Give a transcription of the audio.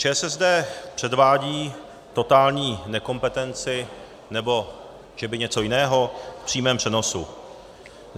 ČSSD předvádí totální nekompetenci - nebo že by něco jiného - v přímém přenosu.